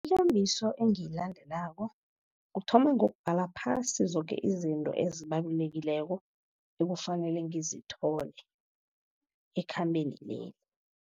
engiyilandelako kuthoma ngokubhala phasi, zoke izinto ezibalulekileko ekufanele ngizithole ekhambeni leli.